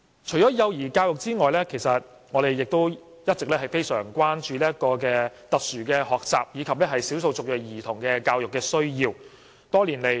除了幼兒教育之外，我們亦一直非常關注特殊學習及少數族裔兒童的教育需要。